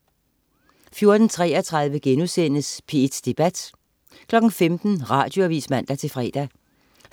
14.33 P1 Debat* 15.00 Radioavis (man-fre)